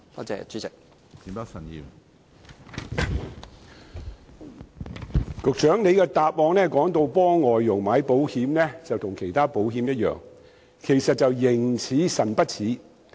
主席，局長的答覆表示，為外傭投購的保險與投購其他保險一樣，實際卻是"形似神不似"。